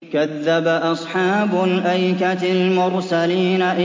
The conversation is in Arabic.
كَذَّبَ أَصْحَابُ الْأَيْكَةِ الْمُرْسَلِينَ